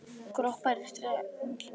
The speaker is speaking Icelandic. Kroppar í strengina.